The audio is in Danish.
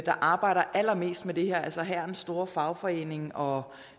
der arbejder allermest med det her altså hærens store fagforening og